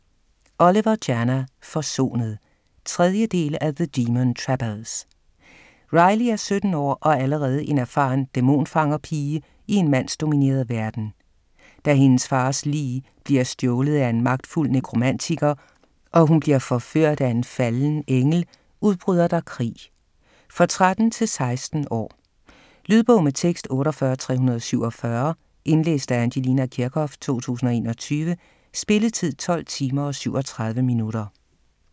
Oliver, Jana: Forsonet 3. del af The demon trappers. Riley er 17 år og allerede en erfaren dæmonfanger-pige i en mandsdomineret verden. Da hendes fars lig bliver stjålet af en magtfuld nekromantiker og hun bliver forført af en falden engel, udbryder der krig. For 13-16 år. Lydbog med tekst 48347 Indlæst af Angelina Kirchhoff, 2021. Spilletid: 12 timer, 37 minutter.